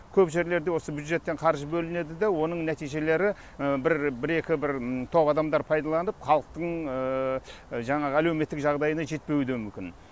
көп жерлерде осы бюджеттен қаржы бөлінеді де оның нәтижелері бір екі бір тоқ адамдар пайдаланып халықтың жаңағы әлеуметтік жағдайына жетпеуі де мүмкін